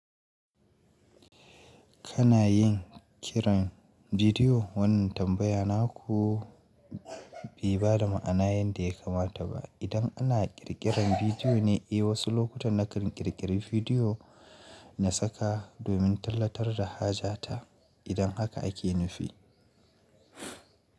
Kana yin kiran bidiyo? Wannan tambaya naku bai bada ma'ana yanda ya kamata ba. Idan ana ƙirƙiran bidiyo ne, eh wasu lokutan nakan ƙirƙiri bidiyo na saka domin tallatar da haja ta. Idan haka ake nufi.